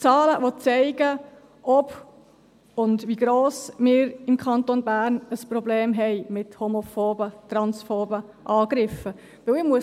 Zahlen, die zeigen, ob und wie gross das Problem ist, das wir im Kanton Bern mit homophoben und transphoben Angriffen haben.